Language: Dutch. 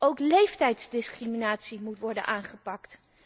Ook leeftijdsdiscriminatie moet worden aangepakt.